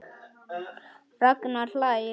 Ragnar hlær.